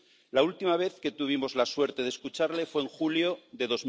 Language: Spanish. La última vez que tuvimos la suerte de escucharle fue en julio de